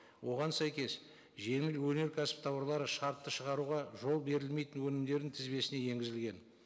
оған сәйкес жеңіл өнеркәсіп тауарлары шартты шығаруға жол берілмейтін өнімдердің тізбесіне енгізілген